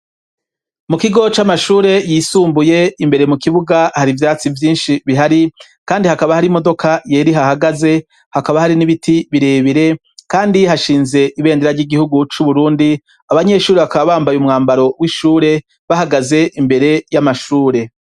Mu kigo c'amashure yisumbuye, imbere mu kibuga hari ivyatsi vyinshi bihari ,kandi hakaba hari imodoka yera ihahagaze, hakaba hari n'ibiti birebire ,kandi hashinze ibendera ry'igihugu c'Uburundi, abanyeshuri bakaba bambaye umwambaro w'ishure, bahagaze imbere y'amashure.